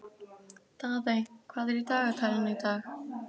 Daðey, hvað er í dagatalinu í dag?